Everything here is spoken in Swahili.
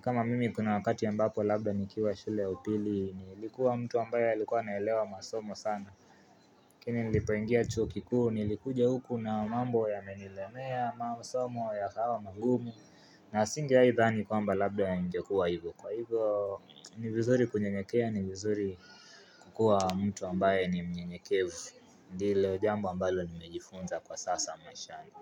kama mimi kuna wakati ambaPo labda nikiwa shule ya upili nilikuwa mtu ambaye alikuwa naelewa masomo sana Lakini nilipoingia chuo kikuu nilikuja huku na mambo yamenilemea masomo yakawa magumu na singeai dhani kwamba labda yangekuwa hivo kwa hivo ni vizuri kunyenyekea ni vizuri kukua mtu ambaye ni mnyenyekevu ndilo jambo ambalo nimejifunza kwa sasa mweshani.